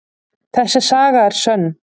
Þessi saga er sönn.